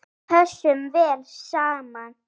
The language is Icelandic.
Við pössum vel saman.